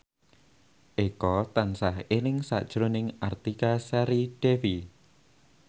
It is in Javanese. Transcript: Eko tansah eling sakjroning Artika Sari Devi